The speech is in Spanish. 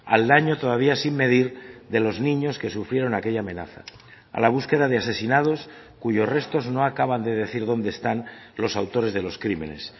al daño todavía sin medir de los niños que sufrieron aquella amenaza a la búsqueda de asesinados cuyos restos no acaban de decir dónde están los autores de los crímenes